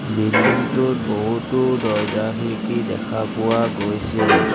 Building টোত বহুতো দৰ্জা খিৰিকী দেখা পোৱা গৈছে।